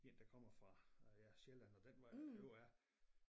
En der kommer fra øh ja Sjælland og den vej ovre af